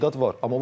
İstedad var.